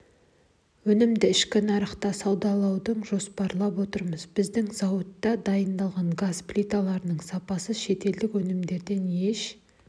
өнімді ішкі нарыққа саудалауды жоспарлап отырмыз біздің зауытта дайындалған газ плиталарының сапасы шетелдік өнімнен еш